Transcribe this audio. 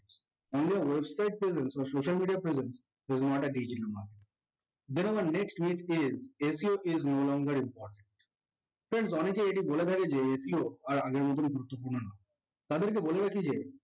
on your website presence or social media presence there is not a big dilemma better was next is SEOis no longer important friends অনেকেই এটি বলে ফেলে যে SEO আর আগের মত গুরুত্বপূর্ণ নয় তাদেরকে বলে রাখি যে